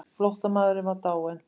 Flóttamaðurinn var dáinn.